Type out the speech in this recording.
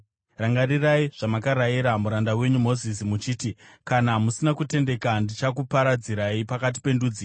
“Rangarirai zvamakarayira muranda wenyu Mozisi, muchiti, ‘Kana musina kutendeka, ndichakuparadzirai pakati pendudzi,